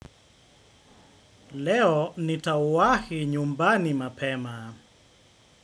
Leo nitawahi nyumbani mapema.